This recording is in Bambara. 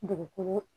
Dugukolo